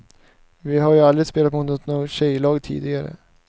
Vi har ju aldrig spelat mot något tjejlag tidigare.